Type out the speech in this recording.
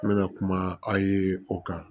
N bɛna kuma aw ye o kan